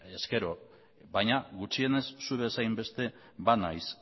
ezkero baina gutxienez zu bezain beste banaiz